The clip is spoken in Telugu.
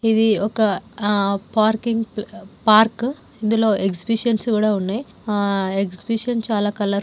ఇది ఒక ఆ పార్కింగ్ పార్క్ ఇందులో ఎగ్జిబిషన్స్ కూడా ఉన్నాయి. ఆ ఎగ్జిబిషన్ చాలా కలర్ --